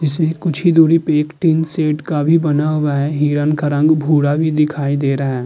इसमें कुछ ही दुरी पे एक टिन शैड का भी बना हुआ है। हिरन का रंग भूरा भी दिखाई दे रहा है।